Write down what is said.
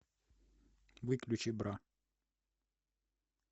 выключи бра